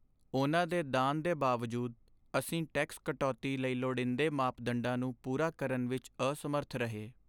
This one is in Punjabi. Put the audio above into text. ਉਨ੍ਹਾਂ ਦੇ ਦਾਨ ਦੇ ਬਾਵਜੂਦ, ਅਸੀਂ ਟੈਕਸ ਕਟੌਤੀ ਲਈ ਲੋੜੀਦੇ ਮਾਪਦੰਡਾਂ ਨੂੰ ਪੂਰਾ ਕਰਨ ਵਿੱਚ ਅਸਮਰੱਥ ਰਹੇ।